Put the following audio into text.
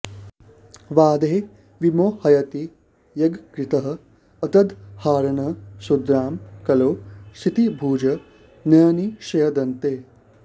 वादैः विमोहयति यज्ञकृतः अतदर्हान् शूद्रां कलौ क्षितिभुजः न्यहनिष्यदन्ते